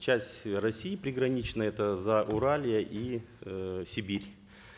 часть россии приграничной это зауралье и э сибирь